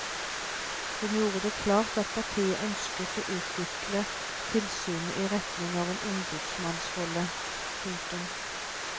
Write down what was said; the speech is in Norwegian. Hun gjorde det klart at partiet ønsker å utvikle tilsynet i retning av en ombudsmannsrolle. punktum